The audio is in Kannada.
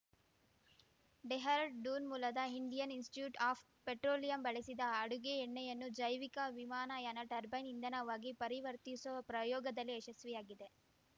ಡೆಹ್ರಾಡೂನ್‌ ಮೂಲದ ಇಂಡಿಯನ್‌ ಇನ್‌ಸ್ಟಿಟ್ಯೂಟ್‌ ಆಫ್‌ ಪೆಟ್ರೋಲಿಯಂ ಬಳಸಿದ ಅಡುಗೆ ಎಣ್ಣೆಯನ್ನು ಜೈವಿಕ ವಿಮಾನಯಾನ ಟರ್ಬೈನ್‌ ಇಂಧನವಾಗಿ ಪರಿವರ್ತಿಸುವ ಪ್ರಯೋಗದಲ್ಲಿ ಯಶಸ್ವಿಯಾಗಿದೆ